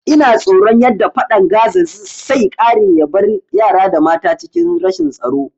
Ina tsoron yadda fadan Gaza sai kare yabar yara da mata a cikin rashin tsaro